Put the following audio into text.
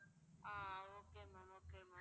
ah okay ma'am okay ma'am